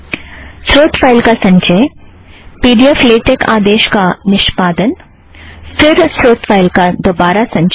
स्रोत फ़ाइल का संचय पी ड़ी ऐफ़ लेटेक आदेश का निष्पादन फ़िर स्रोत फ़ाइल का दौहरा संचय